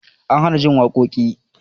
An hana jin waƙoƙin